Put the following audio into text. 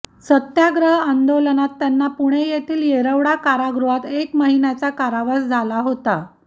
सत्याग्रह आदोलनात त्यांना पुणे येथील येरवडा कारागृहात एक महिन्याचा कारावास झाला होता